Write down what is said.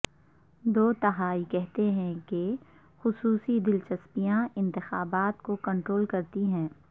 دو تہائی کہتے ہیں کہ خصوصی دلچسپیاں انتخابات کو کنٹرول کرتی ہیں